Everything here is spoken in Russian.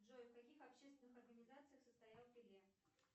джой в каких общественных организациях состоял пеле